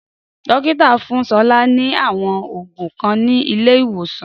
Dókítà fún Sola ni àwọn òògùn kan ni ilé ìwòsàn